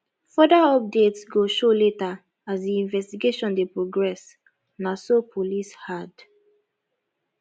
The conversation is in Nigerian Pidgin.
further updates go show later as di investigation dey progress na so police add